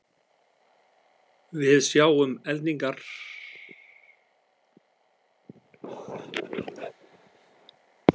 Við sjáum eldingarnar eiginlega um leið og þær verða.